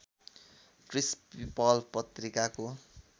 क्रिस् People पत्रिकाको